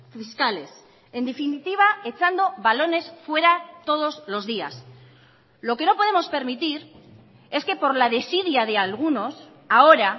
fiscales en definitiva echando balones fuera todos los días lo que no podemos permitir es que por la desidia de algunos ahora